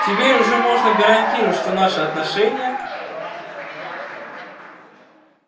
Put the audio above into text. теперь уже можно гарантировать что наши отношения